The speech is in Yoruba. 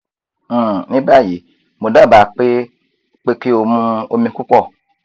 um ní báyìí mo dábàá pé pé kí o mu omi púpọ̀